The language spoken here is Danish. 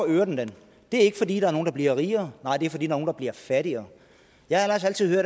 øger det den det er ikke fordi der er nogle der bliver rigere nej det er fordi nogle der bliver fattigere jeg har ellers altid